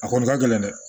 A kɔni ka gɛlɛn dɛ